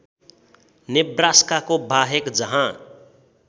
नेब्रास्काको बाहेक जहाँ